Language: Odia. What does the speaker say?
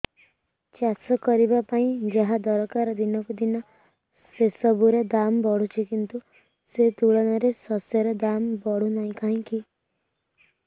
ଚାଷ କରିବା ପାଇଁ ଯାହା ଦରକାର ଦିନକୁ ଦିନ ସେସବୁ ର ଦାମ୍ ବଢୁଛି କିନ୍ତୁ ସେ ତୁଳନାରେ ଶସ୍ୟର ଦାମ୍ ବଢୁନାହିଁ କାହିଁକି